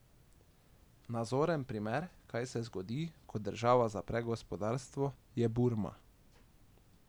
Nazoren primer, kaj se zgodi, ko država zapre gospodarstvo, je Burma.